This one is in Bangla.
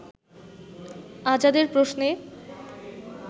আজাদের প্রশ্নে